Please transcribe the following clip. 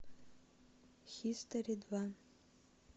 хистори два